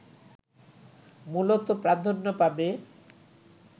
মূলত প্রাধান্য পাবে